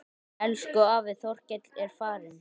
Elsku afi Þorkell er farinn.